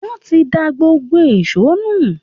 Wọ́n ti da gbogbo èṣó nù